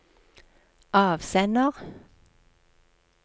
avsender